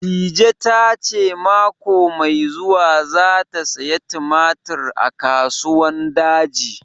Dije ta ce mako mai zuwa za ta saya tumatir a Kasuwan Daji